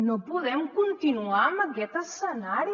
no podem continuar amb aquest escenari